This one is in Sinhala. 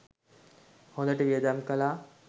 හොඳට වියදම් කළා.